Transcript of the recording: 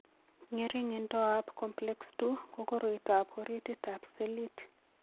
ng'ering'indoab Complex II ko koroitoab orititab selit.